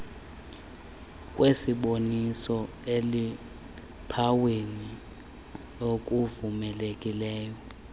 kwesiboniswe eluphawini ekuvumelekileyo